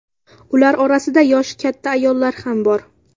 Ular orasida yoshi katta ayollar ham bor.